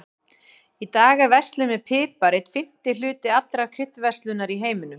Í dag er verslun með pipar einn fimmti hluti allrar kryddverslunar í heiminum.